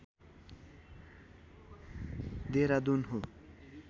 देहरादुन हो